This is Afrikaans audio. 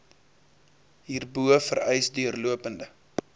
hierbo vereis deurlopende